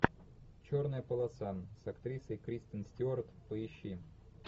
черная полоса с актрисой кристен стюарт поищи